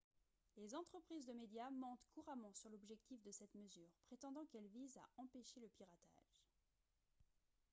les entreprises de médias mentent couramment sur l'objectif de cette mesure prétendant qu'elle vise à « empêcher le piratage »